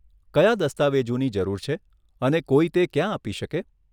કયા દસ્તાવેજોની જરૂર છે અને કોઈ તે ક્યાં આપી શકે?